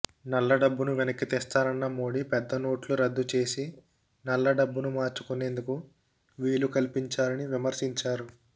నల్లడబ్బును వెనక్కి తెస్తానన్న మోడీ పెద్దనోట్లు రద్దు చేసి నల్లడబ్బును మార్చుకునేందుకు వీలు కల్పించారని విమర్శించారు